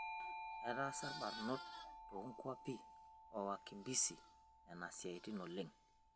Etaasa lbarnot too nkampi oo wakimbisi nena siaitin oleng'